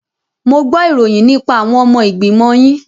Mo gbo ìròyìn nípa àwọn ọmọ ìgbìmọ̀ yín.